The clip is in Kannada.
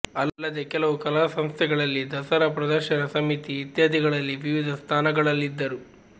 ಅಲ್ಲದೆ ಕೆಲವು ಕಲಾಸಂಸ್ಥೆಗಳಲ್ಲಿ ದಸರಾ ಪ್ರದರ್ಶನ ಸಮಿತಿ ಇತ್ಯಾದಿಗಳಲ್ಲಿ ವಿವಿಧ ಸ್ಥಾನಗಳಲ್ಲಿದ್ದರು